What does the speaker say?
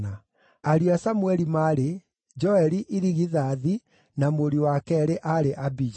Ariũ a Samũeli maarĩ: Joeli irigithathi, na mũriũ wa keerĩ aarĩ Abija.